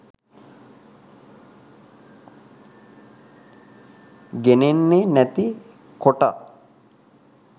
ගෙනෙන්නේ නැති කොට.